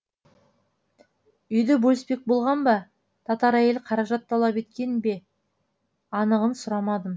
үйді бөліспек болған ба татар әйел қаражат талап еткен бе анығын сұрамадым